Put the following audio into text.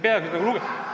Miks?!